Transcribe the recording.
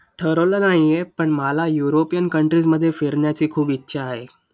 ठरवलं नाही आहे पण मला युरोपियन european countries मध्ये फिरण्याची खूप इच्छा आहे.